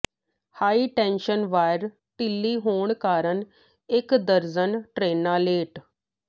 high tension wire ਿਢੱਲੀ ਹੋਣ ਕਾਰਨ ਇਕ ਦਰਜਨ ਟ੍ਰੇਨਾਂ ਲੇਟ